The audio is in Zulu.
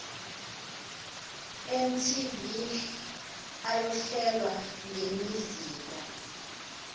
ntv ayohlelwa ngemizila